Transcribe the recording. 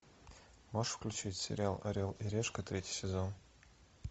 можешь включить сериал орел и решка третий сезон